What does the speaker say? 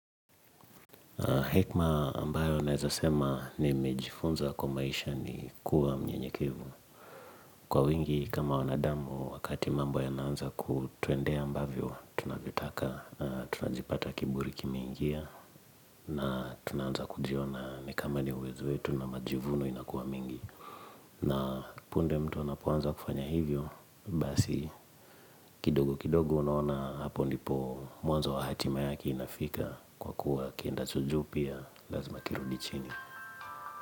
Hekma ambayo naezasema ni mejifunza kwa maisha ni kuwa mnyenyekevu. Kwa wingi kama wanadamu wakati mambo ya naanza kutwendea ambavyo, tunavitaka, tunajipata kiburi kime ingia na tunaanza kujiona nikamani uwezo wetu na majivuno inakuwa mengi. Na punde mtu anapoanza kufanya hivyo, basi kidogo kidogo unaona hapo ndipo mwanzo wahatima yake inafika kwa kuwa kienda cho juu pia lazima kirudichini.